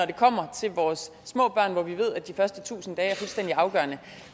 det kommer til vores små børn hvor vi ved at de første tusind liv er fuldstændig afgørende